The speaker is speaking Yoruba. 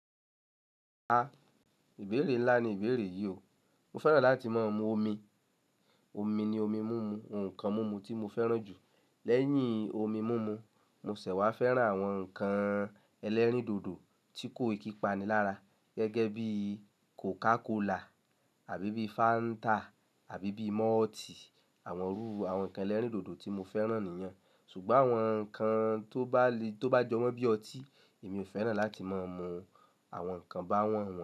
A, ìbéèrè ńlá ni ìbéèrè yìí o. Mo fẹ́ràn láti máa mu omi. Omi ni omi mimu, ohun kan mimu tí mo fẹ́ràn jù. Lẹ́yìn omi mimu, mo ṣẹ̀ wá fẹ́ràn àwọn ǹkan ẹlẹ́rìndòdò tí kò ìkí pani lára gẹ́gẹ́ bí cocacola àbí bí Fanta àbí bí malt, àwọn rú àwọn ǹkan ẹlẹ́rìndòdò tí mo fẹ́ràn nìyẹn. Ṣùgbọ́n àwọn ǹkan tó bá le tó bá jọ wọ́n bí ọtí èmi ò fẹ́ràn láti máa mu àwọn ǹkan báwọ́n wọn.